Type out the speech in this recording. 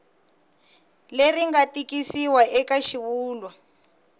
leri nga tikisiwa eka xivulwa